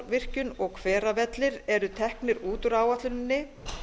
eyjadalsárvirkjun og hveravellir eru teknir út úr áætluninni